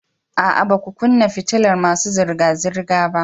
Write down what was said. A'a, ba ku kunna fitilar masu zirga-zirga ba